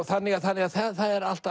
þannig að þannig að það er alltaf